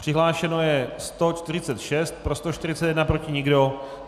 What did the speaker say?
Přihlášeno je 146, pro 141, proti nikdo.